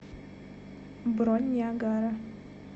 бронь ниагара